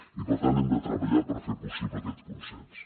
i per tant hem de treballar per fer possible aquest consens